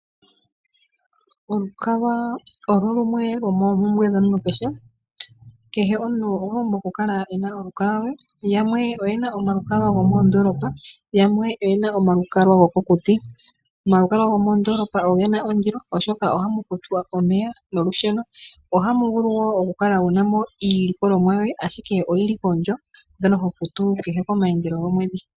Olukalwa owo lumwe lwomoompumbwe dhomuntu kehe. Kehe omuntu okwa pumbwa oku kala e na olukalwa lwe, yamwe oyena omalukalwa gomoondoolopa, yamwe oyena omalukalwa gokokuti. Omalukalwa gomoondoolopa ogena ondilo oshoka ohamu kufwa omeya nolusheno. Ohamu vulu wo oku kala wuna mo iilikolomwa yoye ashike oyili koondjo mbyono ho futu kehe koomaandelo gomwedhi.